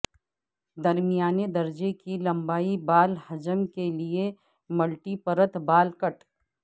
درمیانے درجے کی لمبائی بال حجم کے لئے ملٹی پرت بال کٹ